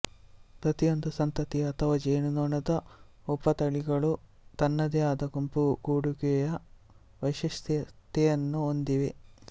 ಪ್ರತಿಯೊಂದು ಸಂತತಿ ಅಥವಾ ಜೇನುನೊಣದ ಉಪತಳಿಗಳು ತನ್ನದೇ ಆದ ಗುಂಪುಗೂಡುವಿಕೆಯ ವೈಶಿಷ್ಟ್ಯತೆಯನ್ನು ಹೊಂದಿವೆ